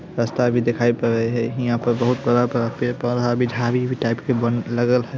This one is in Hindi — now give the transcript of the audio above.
रस्ता भी दिखायाइ पड़य हेय हीया पे बहुत बड़ा-बड़ा पौधा टाइप बन के लगेय है।